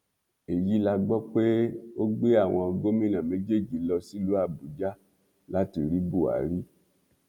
èyí la gbọ pé ó gbé àwọn gómìnà méjèèjì lọ sílùú àbújá láti rí buhari